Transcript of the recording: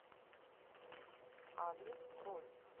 адрес кроль